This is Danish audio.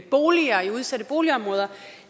boliger i udsatte boligområder